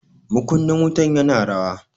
Makunnin wutan ya na rawa.